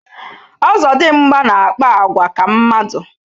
Ọzọdịmgba na-akpa àgwà ka mmadụ